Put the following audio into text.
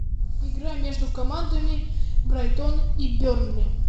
игра между командами брайтон и бернли